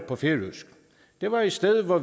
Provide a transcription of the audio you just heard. på færøsk det var et sted hvor